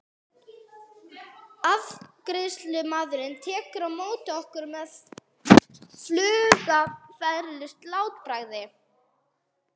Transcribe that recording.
Afgreiðslumaðurinn tekur á móti okkur með flugafgreiðslu-látbragði.